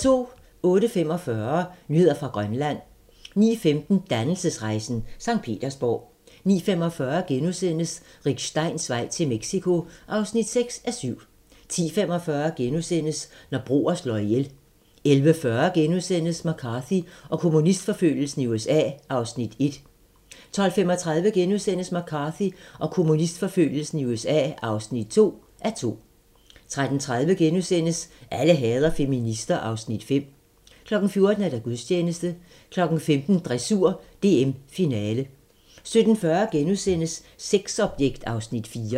08:45: Nyheder fra Grønland 09:15: Dannelsesrejsen - Sankt Petersborg 09:45: Rick Steins vej til Mexico (6:7)* 10:45: Når broer slår ihjel * 11:40: McCarthy og kommunistforfølgelsen i USA (1:2)* 12:35: McCarthy og kommunistforfølgelsen i USA (2:2)* 13:30: Alle hader feminister (Afs. 5)* 14:00: Gudstjeneste 15:00: Dressur: DM - finale 17:40: Sexobjekt (Afs. 4)*